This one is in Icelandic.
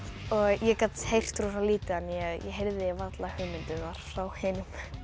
ég gat heyrt rosa lítið þannig að ég heyrði varla hugmyndirnar frá hinum